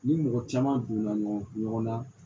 Ni mɔgɔ caman donna ɲɔgɔn kun ɲɔgɔnna